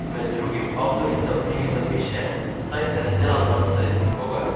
Med drugim avtorica v knjigi zapiše: "Saj se ne delam norca iz nikogar.